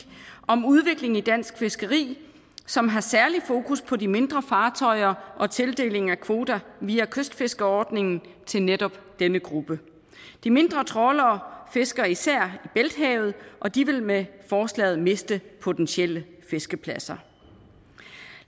om udviklingen i dansk fiskeri som har særlig fokus på de mindre fartøjer og tildelingen af kvoter via kystfiskerordningen til netop denne gruppe de mindre trawlere fisker især i bælthavet og de vil med forslaget miste potentielle fiskepladser